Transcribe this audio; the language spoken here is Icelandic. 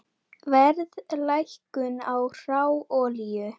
Verðlækkun á hráolíu